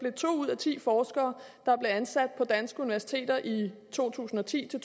ud af ti forskere der blev ansat på danske universiteter i to tusind og ti til